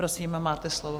Prosím, máte slovo.